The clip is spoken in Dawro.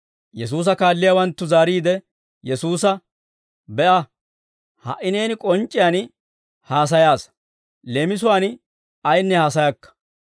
Yesuusa kaalliyaawanttu zaariide Yesuusa, «Be'a, ha"i neeni k'onc'c'iyaan haasayaasa; leemisuwaan ayinne haasayakka.